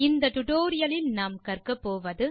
இந்த டுடோரியலின் முடிவில் செய்ய முடிவது